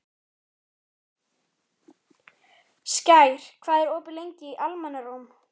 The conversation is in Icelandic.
Skær, hvað er opið lengi í Almannaróm?